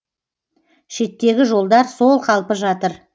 шеттегі жолдар сол қалпы жатыр